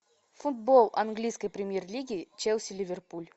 футбол английской премьер лиги челси ливерпуль